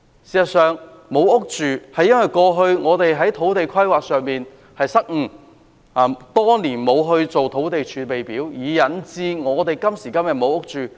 事實上，沒有房屋居住，是因為過去的土地規劃失誤，多年來沒有製訂土地儲備，引致今時今日沒有住屋。